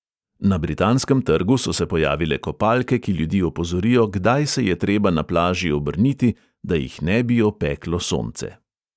Na britanskem trgu so se pojavile kopalke, ki ljudi opozorijo, kdaj se je treba na plaži obrniti, da jih ne bi opeklo sonce.